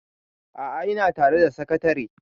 a'a ina tare da sakatare